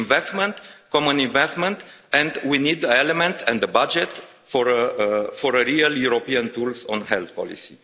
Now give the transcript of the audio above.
We need investment, common investment, and we need an element in the budget for a real European tool on health policy.